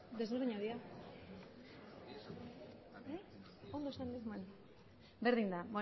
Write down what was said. berdin da